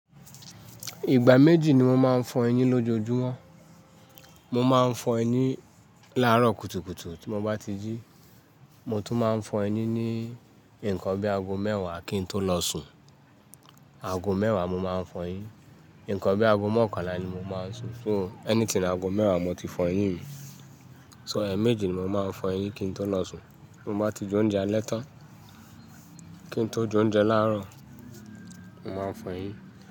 Ìgbà méjì ni mo máa ń fọ eyín lójoojúmọ́. Mo máa ń fọ eyín láàárọ̀ kùtùkùtù tí mo bá ti jí. Mo tún máa ń fọ eyín ní ǹnkan bí aago mẹ́wàá kí n tó lọ sùn. Aago mẹ́wàá mo máa ń fọ eyín. Ǹnkan bí aago mọ́kànlá ni mo máa ń sùn. So anything aago mẹ́wàá mo ti fọ eyín mi. So ẹ̀eméjì ni mo máa ń fọ eyín kí n tó lọ sùn. Ti mo bá ti jẹ oúnjẹ alẹ́ tán kí n tó jẹ oúnjẹ láàárọ̀, mo máa fọ eyín.